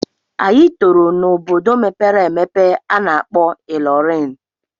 Anyị tọrọ n'obodo mepere emepe a na-akpọ Ilorin.